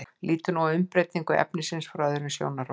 lítum nú á umbreytingu efnisins frá öðrum sjónarhóli